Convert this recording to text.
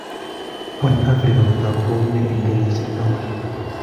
Wany Afrika kotagu kou ne en kenyishek taman